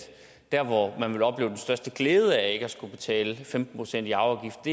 der hvor man ville opleve den største glæde at skulle betale femten procent i arveafgift